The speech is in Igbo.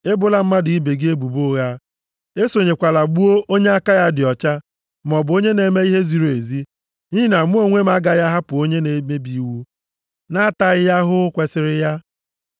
Ebola mmadụ ibe gị ebubo ụgha. Esonyekwala gbuo onye aka ya dị ọcha, maọbụ onye na-eme ihe ziri ezi. Nʼihi na mụ onwe m agaghị ahapụ onye na-emebi iwu na-ataghị ya ahụhụ kwesiri ya.